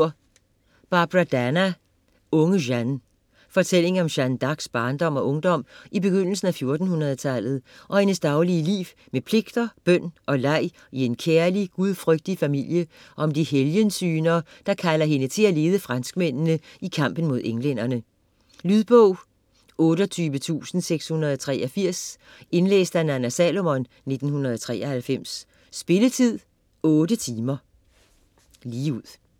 Dana, Barbara: Unge Jeanne Fortælling om Jeanne d'Arcs barndom og ungdom i begyndelsen af 1400-tallet, om hendes daglige liv med pligter, bøn og leg i en kærlig, gudfrygtig familie og om de helgensyner, der kalder hende til at lede franskmændene i kampen mod englænderne. Lydbog 28683 Indlæst af Nanna Salomon, 1993. Spilletid: 8 timer, 0 minutter.